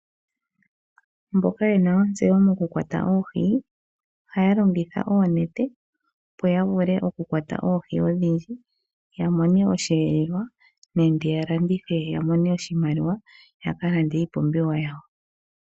Mboka yena ontseyo moku kwata oohi ohaya longitha oonete opo yavule oku kwata oohi odhindji yamone osheelelwa nenge ya landithe yamone oshimaliwa ya kalande iipumbiwa yawo.